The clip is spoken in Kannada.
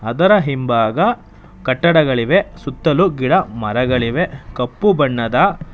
ಅದರ ಹಿಂಭಾಗ ಕಟ್ಟಡಗಳಿವೆ ಸುತ್ತಲೂ ಗಿಡ ಮರಗಳಿವೆ ಕಪ್ಪು ಬಣ್ಣದ --